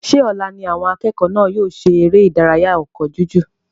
Ṣé ọ̀la ní àwọn akẹ́kọ̀ọ́ náà yóò ṣe eré ìdárayá ọkọ́ jújù?